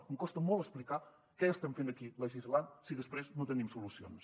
em costa molt explicar què estem fent aquí legislant si després no tenim solucions